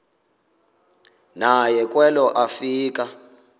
naye kwelo afika